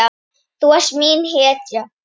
Þú varst mín hetja.